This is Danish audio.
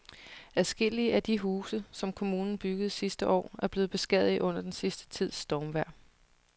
Adskillige af de huse, som kommunen byggede sidste år, er blevet beskadiget under den sidste tids stormvejr.